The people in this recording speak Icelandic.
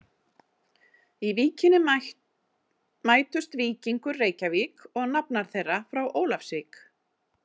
Í Víkinni mætust Víkingur Reykjavík og nafnar þeirra frá Ólafsvík.